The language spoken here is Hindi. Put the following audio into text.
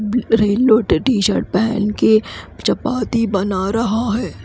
ब्लू येल्लो टीशर्ट पहनके चपाती बना रहा है।